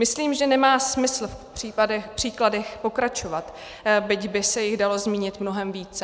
Myslím, že nemá smysl v příkladech pokračovat, byť by se jich dalo zmínit mnohem více.